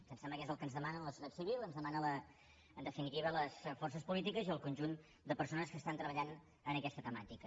em sembla que és el que ens demana la societat civil el que ens demanen en definitiva les forces polítiques i el conjunt de persones que treballen en aquesta temàtica